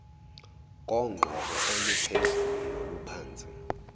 kogqoko oluphezulu noluphansi